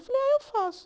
Eu falei, ah eu faço.